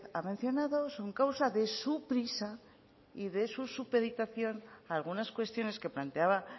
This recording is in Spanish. ha mencionado son causa de su prisa y de su supeditación a algunas cuestiones que planteaba